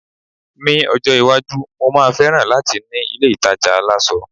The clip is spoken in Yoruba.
mi ọjọ iwaju, mo ma feran lati ni ilé ìtajà aláṣọ